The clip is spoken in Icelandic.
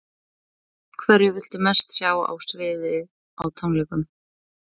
Hverja viltu mest sjá á sviði á tónleikum?